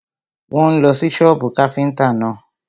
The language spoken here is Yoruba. Wọ́n ń lọ sí sọ́bù káfíntà náà.